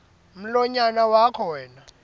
mlonyana wakho wena